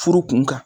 Furu kun kan